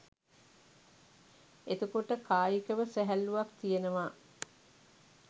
එතකොට කායිකව සැහැල්ලුවක් තියෙනවා